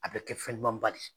A bɛ kɛ fɛn ɲuman ba de.